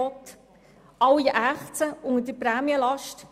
Alle ächzen unter der Prämienlast.